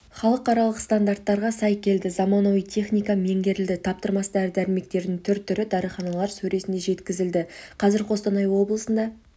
халықаралық стандарттарға сай келді заманауи техника меңгерілді таптырмас дәрі-дәрмектің түр-түрі дәріханалар сөресіне жеткізілді қазір қостанай облысында